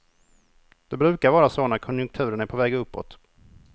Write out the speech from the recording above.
Det brukar vara så när konjunkturen är på väg uppåt.